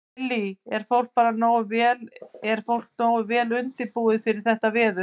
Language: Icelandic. Lillý: Er fólk bara nógu vel, er fólk nógu vel undirbúið undir þetta veður?